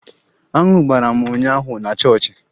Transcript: Aṅụ gbara m ụnyaahụ na chọọchị